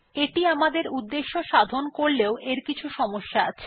এটি আমাদের উদ্দেশ্য সাধন করলেও এর কিছু সমস্যা আছে